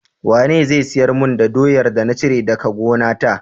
Wane zai siyar mun da doyar da na cire daka gonata?